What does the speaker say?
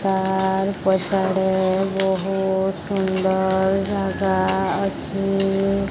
Car ପଛଆଡ଼େ ବୋହୁତ୍ ସୁନ୍ଦର ଜାଗା ଅଛେ।